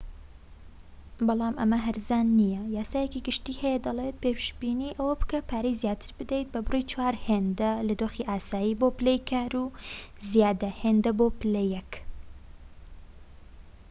بەڵام ئەمە هەرزان نیە یاسایەکی گشتی هەیە دەڵێت پێشبینی ئەوە بکە پارەی زیاتر بدەیت بە بڕی چوار هێندە لە دۆخی ئاسایی بۆ پلەی کار و یازدە هێندە بۆ پلە یەك